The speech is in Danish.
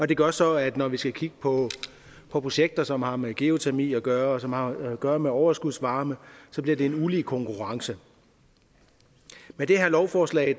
det gør så at når vi skal kigge på projekter som har med geotermi at gøre og som har at gøre med overskudsvarme bliver det en ulige konkurrence med det her lovforslag